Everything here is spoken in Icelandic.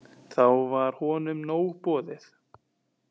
Þá var honum nóg boðið.